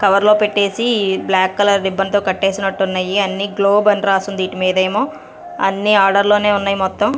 కవర్లో పెట్టేసి black colour ribbon తో కట్టేసినట్టున్నాయి అన్ని గ్లోబ్ అని రాసుంది ఈటిమీదేమో అన్ని ఆర్డర్ లోనే ఉన్నాయి మొత్తం.